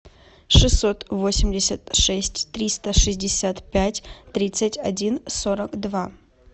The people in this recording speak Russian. шестьсот восемьдесят шесть триста шестьдесят пять тридцать один сорок два